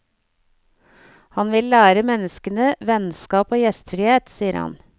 Han vil lære menneskene vennskap og gjestfrihet, sier han.